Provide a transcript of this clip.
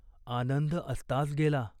आनंद अस्तास गेला.